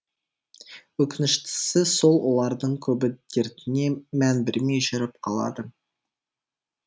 өкініштісі сол олардың көбі дертіне мән бермей жүріп қалады